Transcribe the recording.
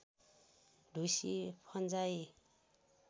ढुसी फन्जाइ